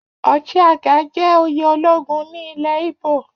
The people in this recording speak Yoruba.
Ochiagha jẹ́ oyè ológun ní ilẹ̀ íbò